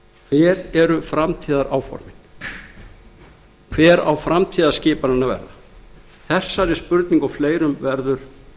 hver eru framtíðaráformin hver á framtíðarskipunin að verða þessari spurningu og fleirum verður